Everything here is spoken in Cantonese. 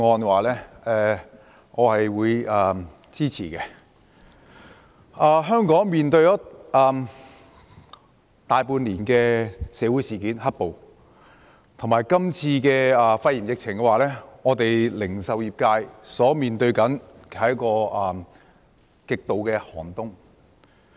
香港經歷了大半年的"黑暴"事件，加上這次肺炎疫情，零售業界所面對的是極度寒冬。